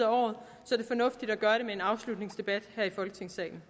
året er det fornuftigt at gøre det med en afslutningsdebat her i folketingssalen